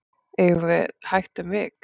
eigum við hægt um vik